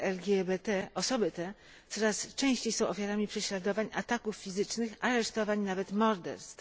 LGBT osoby te coraz częściej są ofiarami prześladowań, ataków fizycznych, aresztowań, nawet morderstw.